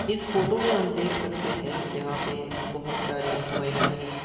इस फोटो मे हम देख सकते हैं यहां पे बहोत सारी महिलाएं --